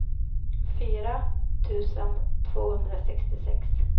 fyra tusen tvåhundrasextiosex